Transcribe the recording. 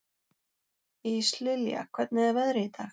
Íslilja, hvernig er veðrið í dag?